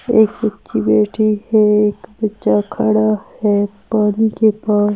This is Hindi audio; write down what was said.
एक बच्ची बैठी है। एक बच्चा खड़ा है। पानी के पास--